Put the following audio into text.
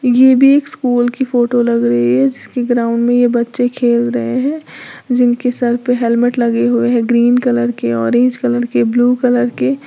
ये भी एक स्कूल की फोटो लग रही है जिसकी ग्राउंड में ये बच्चे खेल रहे हैं जिनके सर पे हेलमेट लगे हुए हैं ग्रीन कलर की ऑरेंज कलर के ब्लू कलर के।